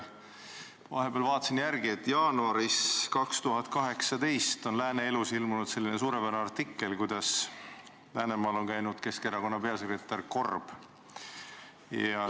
Vahepeal vaatasin järele, et jaanuaris 2018 ilmus Lääne Elus suurepärane artikkel selle kohta, kuidas Läänemaal käis Keskerakonna peasekretär Korb.